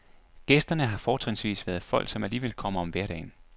Gæsterne har fortrinsvis været folk, som alligevel kommer om hverdagen.